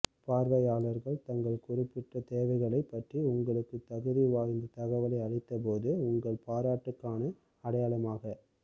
பார்வையாளர்கள் தங்கள் குறிப்பிட்ட தேவைகளைப் பற்றி உங்களுக்குத் தகுதி வாய்ந்த தகவலை அளித்தபோது உங்கள் பாராட்டுக்கான அடையாளமாக